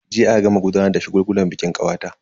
Jiya aka gama gudanar da shagulgulan bikin kawata.